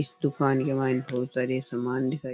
इस दुकान के मायने बहुत सारी सामान दिखाई --